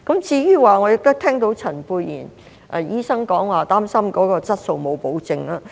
我亦聽到陳沛然醫生表示，擔心質素沒有保證。